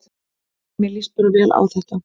Mér líst bara vel á þetta